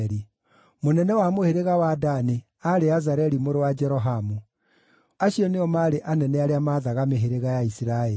mũnene wa mũhĩrĩga wa Dani aarĩ Azareli mũrũ wa Jerohamu; Acio nĩo maarĩ anene arĩa maathaga mĩhĩrĩga ya Isiraeli.